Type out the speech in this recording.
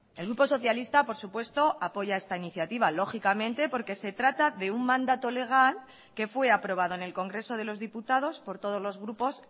el grupo socialista por supuesto apoya esta iniciativa lógicamente porque se trata de un mandato legal que fue aprobado en el congreso de los diputados por todos los grupos